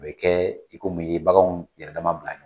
O be kɛ i komi i ye baganw yɛrɛ dama bila